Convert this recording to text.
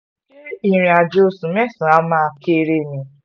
ṣe ìrìnàjò oṣù mẹ́sàn-án wàá kéré ni